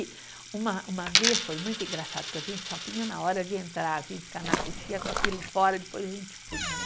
E uma uma vez foi muito engraçado, porque a gente só punha na hora de entrar, a gente ficava na coxia com aquilo fora, depois a gente punha, né?